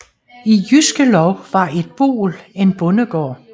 I Jyske Lov var et boel en bondegård